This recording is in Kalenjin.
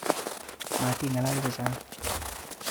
Matinga'lal chechang